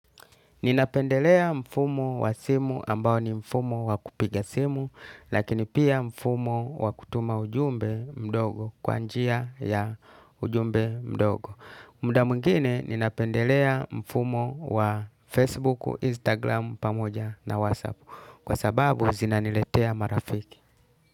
Ninapendelea mfumo wa simu ambao ni mfumo wa kupiga simu, lakini pia mfumo wa kutuma ujumbe mdogo kwa njia ya ujumbe mdogo. Muda mwingine, ninapendelea mfumo wa Facebook, Instagram, pamoja na WhatsApp. Kwa sababu, zinaniletea marafiki.